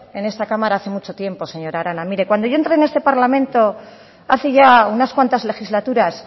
en esta cámara hace mucho tiempo señora arana mire cuando yo entré en este parlamento hace ya unas cuantas legislaturas